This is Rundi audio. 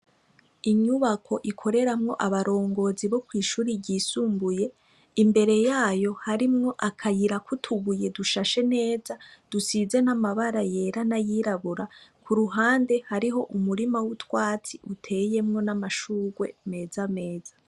Inyubako ikoreramwo abarongozi bo kw'ishure ryisumbuye , imbere yayo harimwo akayira k'utubuye dushashe neza dusize n'amabara yera n'ayirabura, ku ruhande hariho umurima w'utwatsi uteyemwo n'amashurwe meza meza.